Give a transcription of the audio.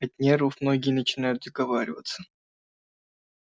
от нервов многие начинают заговариваться